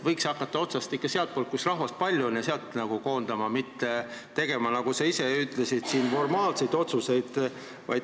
Võiks ehk hakata koondama ikka sealt, kus rahvast väga palju on, mitte tegema, nagu sa ise ütlesid, siin formaalseid otsuseid.